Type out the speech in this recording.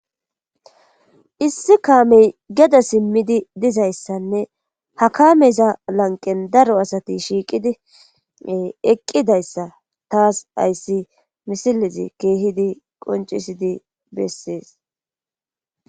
issi kaamey geda simmidi dizayssanne ha kaameza lanqen daro asati shiiqidi eqqidayssa taas ayssi misilezi keehidi qoncisidi bessees